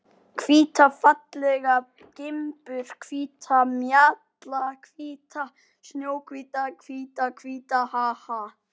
Hvíta fallega gimbur, hvíta. mjallahvíta. snjóhvíta, hvíta, hvíta, ha, ha!